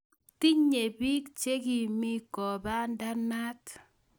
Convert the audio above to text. Tinye bik che kimii kopandanat